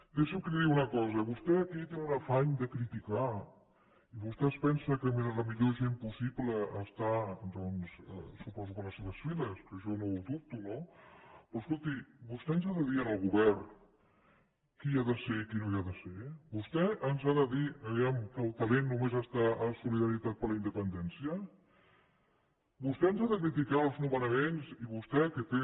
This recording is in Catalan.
deixi’m que li digui una cosa vostè aquí té un afany de criticar i vostè es pensa que la millor gent possible està doncs suposo que a les seves files que jo no ho dubto no però escolti vostè ens ha de dir al govern qui hi ha de ser i qui no hi ha de ser vostè ens ha de dir vejam que el talent només està a solidaritat per la independència vostè ens ha de criticar els nomenaments i vostè que té